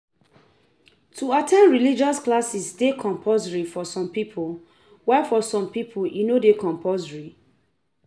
To at ten d religious classes de compulsory for some pipo while for some pipo e no de compulsory